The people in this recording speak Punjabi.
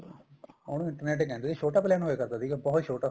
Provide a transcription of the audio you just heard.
ਉਹਨੂੰ internet ਕਹਿੰਦੇ ਏ ਛੋਟਾ plain ਹੋਇਆ ਕਰਦਾ ਸੀਗਾ ਬਹੁਤ ਛੋਟਾ